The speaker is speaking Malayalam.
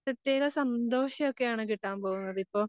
പ്രത്യേകം സന്തോഷൊക്കെയാണ് കിട്ടാൻ പോകുന്നത്. ഇപ്പം